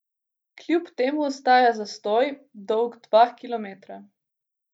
Kljub temu ostaja zastoj, dolg dva kilometra.